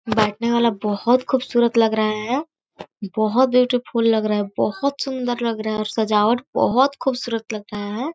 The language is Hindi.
बैठने वाला बहोत खूबसुरत लग रहा है बहोत ब्यूटी फूल लग रहा है बहोत सुंदर लग रहा है और सजावट बहोत खूबसुरत लग रहा है।